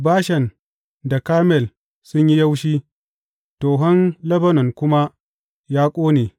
Bashan da Karmel sun yi yaushi tohon Lebanon kuma ya koɗe.